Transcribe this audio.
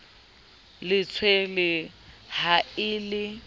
le tshwerweng ha e le